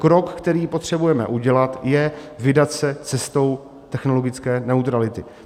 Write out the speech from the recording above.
Krok, který potřebujeme udělat, je vydat se cestou technologické neutrality.